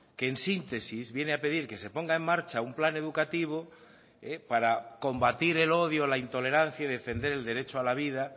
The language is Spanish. que en síntesis viene a pedir que se ponga en marcha un plan educativo para combatir el odio la intolerancia y defender el derecho a la vida